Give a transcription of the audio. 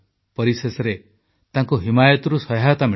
ପରିଶେଷରେ ତାଙ୍କୁ ହିମାୟତରୁ ସହାୟତା ମିଳିଲା